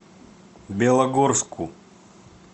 белогорску